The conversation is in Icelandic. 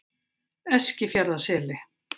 Eskifjarðarseli